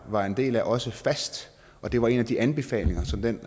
var en del af også fast og det var en af de anbefalinger som den